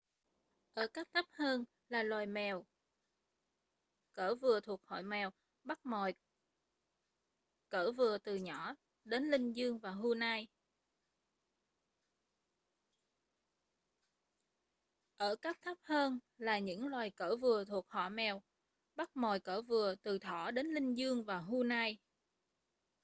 ở cấp thấp hơn là những loài cỡ vừa thuộc họ mèo bắt mồi cỡ vừa từ thỏ đến linh dương và hươu nai